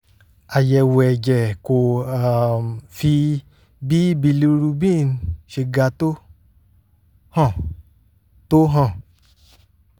àyẹ̀wò ẹ̀jẹ̀ kò um fi bí bilirubin ṣe ga tó hàn tó hàn